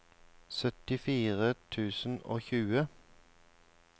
syttifire tusen og tjue